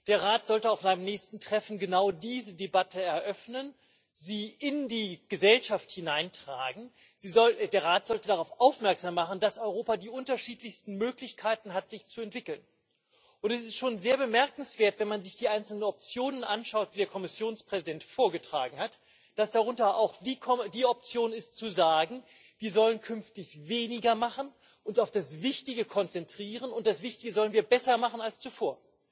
Der Rat sollte auf seinem nächsten Treffen genau diese Debatte eröffnen, sie in die Gesellschaft hineintragen, der Rat sollte darauf aufmerksam machen, dass Europa die unterschiedlichsten Möglichkeiten hat, sich zu entwickeln. Es ist schon sehr bemerkenswert, wenn man sich die einzelnen Optionen anschaut, die der Kommissionspräsident vorgetragen hat, dass darunter auch die Option ist, zu sagen Wir sollen künftig weniger machen, uns auf das Wichtige konzentrieren und das Wichtige sollen wir besser machen als zuvor.